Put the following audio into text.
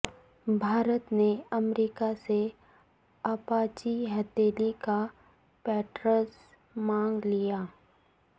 بھارت نے امریکا سے اپاچی ہیلی کاپٹرز مانگ لیے